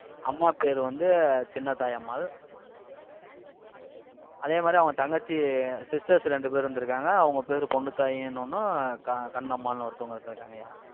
அம்மா பேரு வந்த சின்னத்தாயி அம்மாள், அதே மாதிரி, அவங்க தங்கச்சி sisters ரெண்டு பேர் இருந்திருக்காங்க. அவங்க பேரு, பொண்ணுத்தாயி இன்னொன்னும் க~ கண்ணம்மாள்ன்னு ஒருத்தவங்க இருந்திருக்காங்கயா